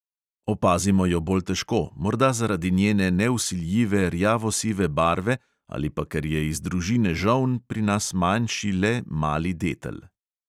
Opazimo jo bolj težko, morda zaradi njene nevsiljive rjavosive barve ali pa ker je iz družine žoln pri nas manjši le mali detel.